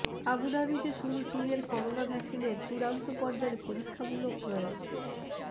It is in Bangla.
আবুধাবিতে শুরু চিনের করোনা ভ্যাকসিনের চূড়ান্ত পর্যায়ের পরীক্ষামূলক প্রয়োগ